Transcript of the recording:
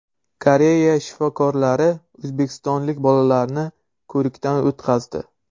Koreya shifokorlari o‘zbekistonlik bolalarni ko‘rikdan o‘tkazdi.